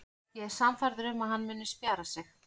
Ég er sannfærður um að hann muni spjara sig.